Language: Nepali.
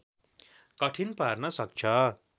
कठिन पार्न सक्छ